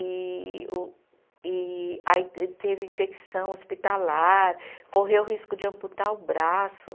E o e aí te teve infecção hospitalar, correu o risco de amputar o braço.